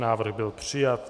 Návrh byl přijat.